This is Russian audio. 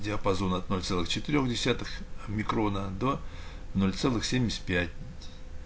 диапазон от ноль целых четырёх десятых микрона до ноль целых семьдесят пять